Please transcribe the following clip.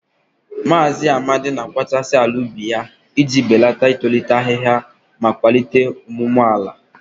Maazị Amadi na-akpachasị ala ubi ya iji belata itolite ahihia ma kwalite ọmụmụ ala.